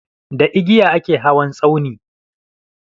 Da igiya a ke hawan tsauni.